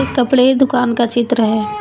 कपड़े दुकान का चित्र है।